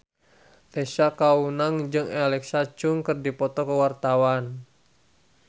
Tessa Kaunang jeung Alexa Chung keur dipoto ku wartawan